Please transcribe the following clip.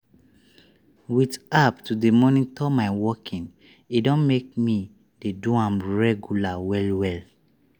with app to dey monitor my walking e don make me dey do am regular well well.